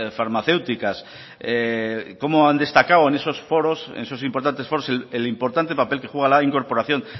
farmacéuticas como han destacado en esos importantes foros el importante papel que juega la incorporación